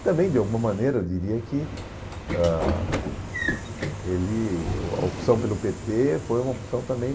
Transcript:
E também, de alguma maneira, eu diria que ãh ele o a opção pelo pê tê foi uma opção também